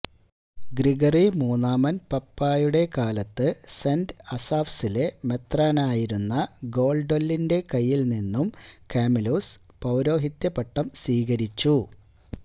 Gregory മൂന്നാമന് പാപ്പായുടെ കാലത്ത് സെന്റ് അസാഫ്സിലെ മെത്രാനായിരുന്ന ഗോള്ഡ്വെല്ലിന്റെ കയ്യില് നിന്നും കാമിലുസ് പൌരോഹിത്യ പട്ടം സ്വീകരിച്ചു